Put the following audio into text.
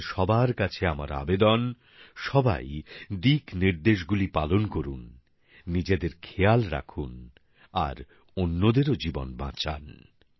আপনাদের সবার কাছে আমার আবেদন সবাই দিকনির্দেশগুলি পালন করুন নিজেদের খেয়াল রাখুন আর অন্যদেরও জীবন বাঁচান